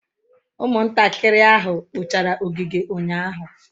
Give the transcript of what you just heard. Umuntakiri ahu kpochara ogige unyahu